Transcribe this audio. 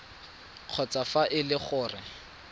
kgotsa fa e le gore